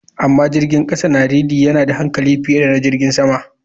Amma jirgin kasa na realy yana da hankali fiye da jirgin sama.